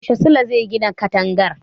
Yaushe Sule zai gine katangar?